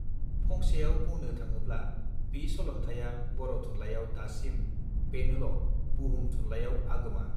फंसेयाव बुंनु थाङोब्ला बी सलन्थाइया बर थुनलाइयाव दासिम बेनोल बुहुम थुनलइयाव आगोमा